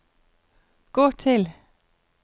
gå til